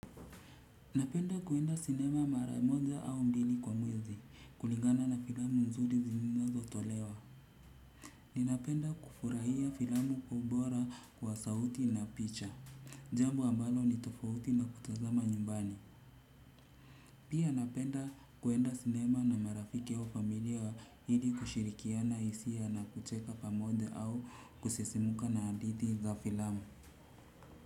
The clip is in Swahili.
Napenda kuenda sinema mara moja au mbili kwa mwezi, kulingana na filamu mzuri zilizomo tolewa. Ninapenda kufurahia filamu kwa ubora wa sauti na picha. Jambo ambalo ni tofauti na kutazama nyumbani. Pia napenda kuenda sinema na marafiki au familia hili kushirikiana hisia na kucheka pamoja au kusesimuka na hadithi za filamu.